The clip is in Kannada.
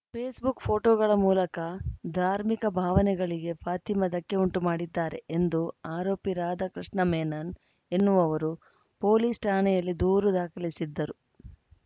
ಫೇಸ್‌ಬುಕ್‌ ಪೋಸ್ಟ್‌ಗಳ ಮೂಲಕ ಧಾರ್ಮಿಕ ಭಾವನೆಗಳಿಗೆ ಫಾತಿಮಾ ಧಕ್ಕೆ ಉಂಟು ಮಾಡಿದ್ದಾರೆ ಎಂದು ಆರೋಪಿ ರಾಧಾಕೃಷ್ಣ ಮೆನನ್‌ ಎನ್ನುವವರು ಪೊಲೀಸ್‌ ಠಾಣೆಯಲ್ಲಿ ದೂರು ದಾಖಲಿಸಿದ್ದರು